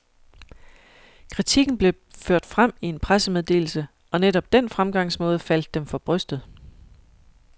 Kritikken blev ført frem i en pressemeddelse, og netop den fremgangsmåde faldt dem for brystet.